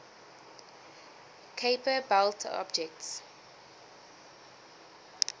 kuiper belt objects